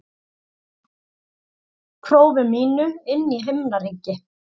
prófi mínu inn í himnaríki.